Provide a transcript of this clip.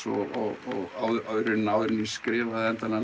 og áður en ég skrifaði endanlega